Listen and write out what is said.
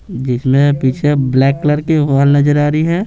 जिसमें पीछे black colour की वाल नजर आ रही है।